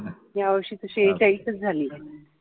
या वर्षी सेहेचाळीस झालंय